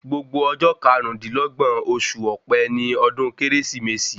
Gbogbo ọjọ́ karún-dín-lọ́gbọ̀n oṣù ọ̀pẹ ni ọdún kérésìmesì